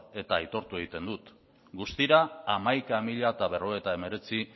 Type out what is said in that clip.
eta aitortu egiten dut guztira hamaika mila berrogeita hemeretzi